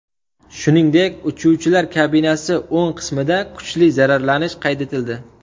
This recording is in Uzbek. Shuningdek, uchuvchilar kabinasi o‘ng qismida kuchli zararlanish qayd etildi.